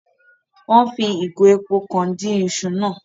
Wón fí ìgò èpò kàn dín iṣu náà